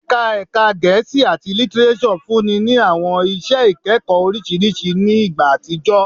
Ẹka Ẹka Gẹẹsi ati Litireso funni ni awọn iṣẹ ikẹkọ oriṣiriṣi ni igba atijọ